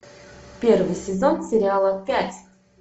первый сезон сериала пять